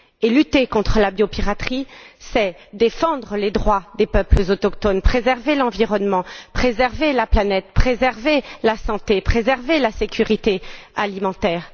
Lutter contre la biopiraterie, c'est défendre les droits des peuples autochtones, préserver l'environnement, préserver la planète, préserver la santé, préserver la sécurité alimentaire.